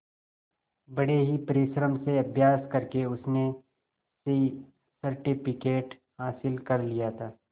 बड़े ही परिश्रम से अभ्यास करके उसने सी सर्टिफिकेट हासिल कर लिया था